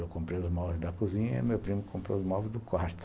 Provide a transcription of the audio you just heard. Eu comprei os móveis da cozinha e meu primo comprou os móveis do quarto.